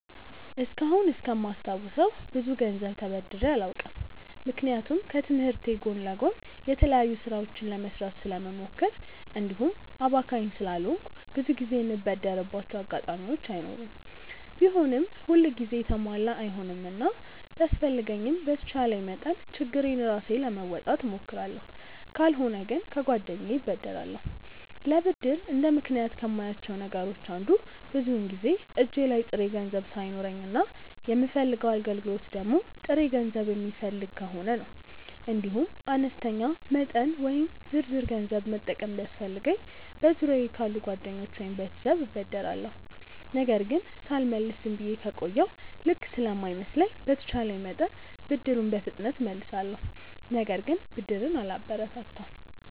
እስካሁን እስከማስታውሰው ብዙ ገንዘብ ተበድሬ አላውቅም። ምክንያቱም ከትምህርቴ ጎን ለጎን የተለያዩ ስራዎችን ለመስራት ስለምሞክር እንዲሁም አባካኝ ስላልሆንኩ ብዙ ጊዜ የምበደርባቸው አጋጣሚዎች አይኖሩም። ቢሆንም ሁል ጊዜ የተሟላ አይሆንምና ቢያስፈልገኝም በተቻለኝ መጠን ችግሬን ራሴ ለመወጣት እሞክራለሁ። ካልሆነ ግን ከጓደኛዬ እበደራለሁ። ለብድር እንደ ምክንያት ከማያቸው ነገሮች አንዱ ብዙውን ጊዜ እጄ ላይ ጥሬ ገንዘብ ሳይኖረኝ እና የምፈልገው አገልግሎት ደግሞ ጥሬ ገንዘብ የሚፈልግ ከሆነ ነው። እንዲሁም አነስተኛ መጠን ወይም ዝርዝር ገንዘብ መጠቀም ቢያስፈልገኝ በዙሪያየ ካሉ ጓደኞቼ ወይም ቤተሰብ እበደራለሁ። ነገር ግን ሳልመልስ ዝም ብዬ ከቆየሁ ልክ ስለማይመስለኝ በተቼለኝ መጠን ብድሩን በፍጥነት እመልሳለሁ። ነገር ግን ብድርን አላበረታታም።